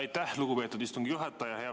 Aitäh, lugupeetud istungi juhataja!